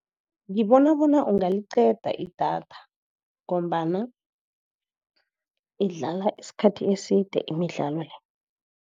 Ngibona bona ungaliqeda idatha, ngombana idlala isikhathi eside imidlalo le.